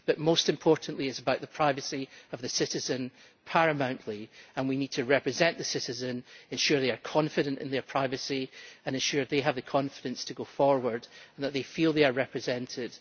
But most importantly it is about the privacy of the citizen, paramountly, and we need to represent the citizen, ensure they are confident in their privacy and ensure they have the confidence to go forward, and they feel they are represented.